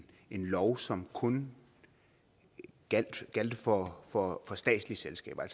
lov som kun gjaldt for for statslige selskaber